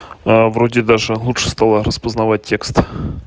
вроде даже лучше стала распознавать текст